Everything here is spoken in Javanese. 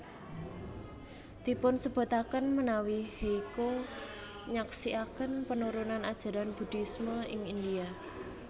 Dipunsebutaken menawi Hyecho nyaksiaken penurunan ajaran Buddhisme ing India